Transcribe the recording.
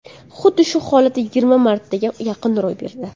Xuddi shu holat yigirma martaga yaqin ro‘y berdi.